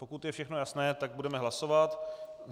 Pokud je všechno jasné, tak budeme hlasovat.